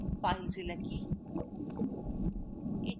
filezilla কী